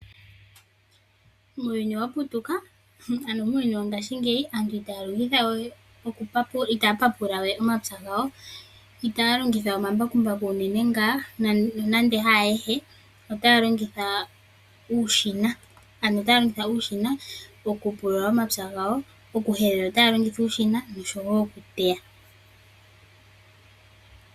Muuyuni wongashingeyi aantu itaya papulawe omapya gawo , itaya longitha omambakumbaku unene ngaa nonando haayehe, otaya longitha uushina , mokupulula omapya gawo mokuteya.